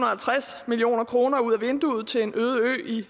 og halvtreds million kroner ud af vinduet til en øde ø i